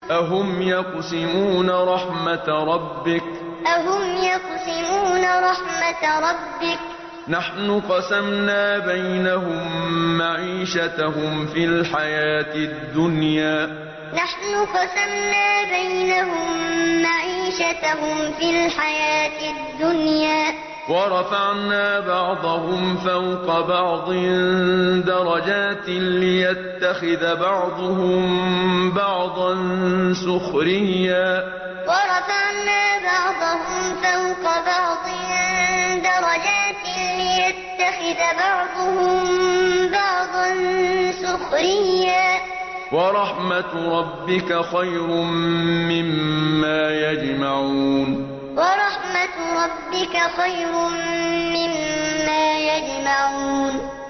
أَهُمْ يَقْسِمُونَ رَحْمَتَ رَبِّكَ ۚ نَحْنُ قَسَمْنَا بَيْنَهُم مَّعِيشَتَهُمْ فِي الْحَيَاةِ الدُّنْيَا ۚ وَرَفَعْنَا بَعْضَهُمْ فَوْقَ بَعْضٍ دَرَجَاتٍ لِّيَتَّخِذَ بَعْضُهُم بَعْضًا سُخْرِيًّا ۗ وَرَحْمَتُ رَبِّكَ خَيْرٌ مِّمَّا يَجْمَعُونَ أَهُمْ يَقْسِمُونَ رَحْمَتَ رَبِّكَ ۚ نَحْنُ قَسَمْنَا بَيْنَهُم مَّعِيشَتَهُمْ فِي الْحَيَاةِ الدُّنْيَا ۚ وَرَفَعْنَا بَعْضَهُمْ فَوْقَ بَعْضٍ دَرَجَاتٍ لِّيَتَّخِذَ بَعْضُهُم بَعْضًا سُخْرِيًّا ۗ وَرَحْمَتُ رَبِّكَ خَيْرٌ مِّمَّا يَجْمَعُونَ